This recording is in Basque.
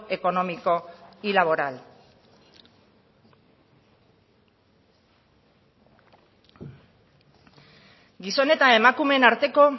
económico y laboral gizon eta emakumeen arteko